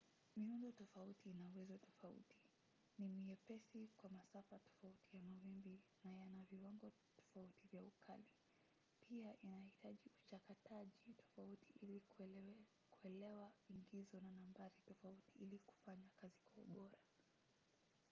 miundo tofauti ina uwezo tofauti ni myepesi kwa masafa tofauti ya mawimbi na yana viwango tofauti vya ukali pia inahitaji uchakataji tofauti ili kuelewa ingizo na nambari tofauti ili kufanya kazi kwa ubora